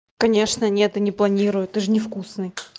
конечно нет и не планирую ты же невкусный